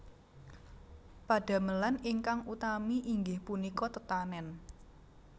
Padamelan ingkang utami inggih punika tetanèn